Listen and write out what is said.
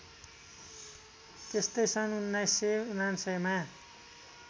त्यस्तै सन् १९९९ मा